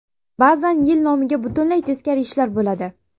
Ba’zan yil nomiga butunlay teskari ishlar bo‘ladi.